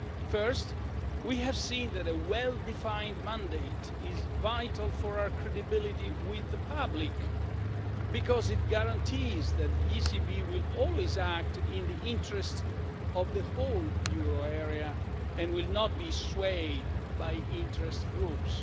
First, we have seen that a well-defined mandate is vital for our credibility with the public, because it guarantees that the ECB will always act in the interest of the whole euro area and will not be swayed by interest groups.